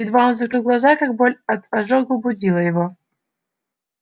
едва он закрывал глаза как боль от ожога будила его